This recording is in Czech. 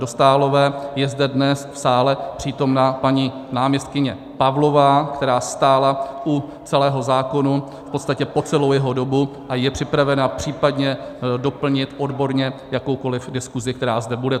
Dostálové je zde dnes v sále přítomna paní náměstkyně Pavlová, která stála u celého zákona v podstatě po celou jeho dobu a je připravena případně doplnit odborně jakoukoli diskusi, která zde bude.